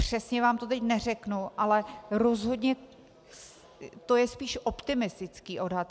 Přesně vám to teď neřeknu, ale rozhodně to je spíš optimistický odhad.